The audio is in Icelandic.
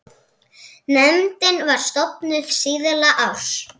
Nefndin var stofnuð síðla árs